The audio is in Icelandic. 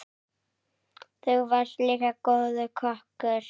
Þú varst líka góður kokkur.